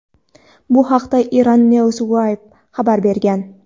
Bu haqda "Iran News Wire" xabar bergan.